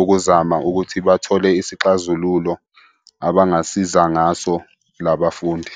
ukuzama ukuthi bathole isixazululo abangasiza ngaso la bafundi.